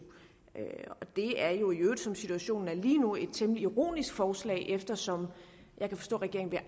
det er jo i øvrigt som situationen er lige nu et temmelig ironisk forslag eftersom jeg kan forstå at regeringen